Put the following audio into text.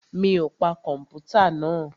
Mi ò pa kọ̀mpútà náà?